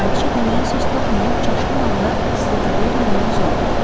Kraliça deməyə söz tapmayıb çaşqın halda De Tavernin üzünə baxdı.